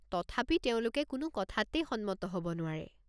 তথাপি তেওঁলোকে কোনো কথাতেই সন্মত হ'ব নোৱাৰে।